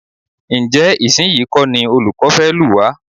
Ǹjẹ́ ìsinyìí kọ́ ní olùkọ́ fẹ́ lù wá?